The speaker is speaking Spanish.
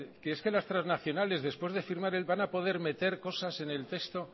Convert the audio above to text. que es que las transnacionales después de firmar van a poder meter cosas en el texto oiga